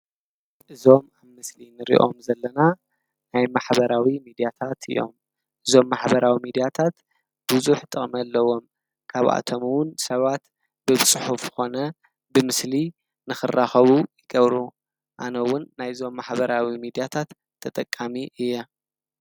እዞም ኣብ ምስሊ እንርኦም ዘለና ናይ ማሕበራዊ ሚድያታት እዮም፡፡ እዞም ማሕበራዊ ሚዲያታት ብዙሕ ጥቕሚ ኣለዎም፡፡ ካብኣቶምውን ሰባት ብፅሑፍ ኮነ ብምስሊ ንኽራኸቡ ይገብሩ፡፡ ኣነውን ናይዞም ማሕበራዊ ሚድያታት ተጠቃሚ እየ፡፡